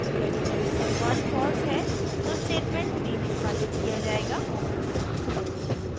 यदि condition 1 false है तो statement 3 निष्पादित किया जायेगा